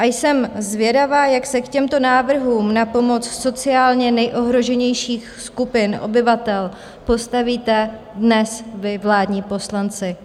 A jsem zvědava, jak se k těmto návrhům na pomoc sociálně nejohroženějším skupinám obyvatel postavíte dnes vy, vládní poslanci.